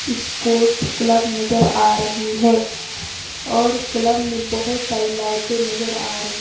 sports club नजर आ रही हैं और क्लब में बहुत सारी लाइटें नजर आ रही --